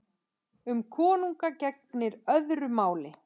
Um konunga gegnir öðru máli.